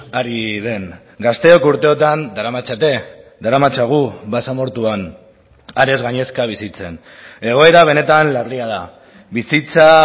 ari den gazteok urteotan daramatzate daramatzagu basamortuan harez gainezka bizitzen egoera benetan larria da bizitza